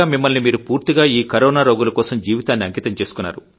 మిమ్మల్ని మీరు పూర్తిగా ఈ కొరోనా రోగుల కోసం జీవితాన్ని అంకితం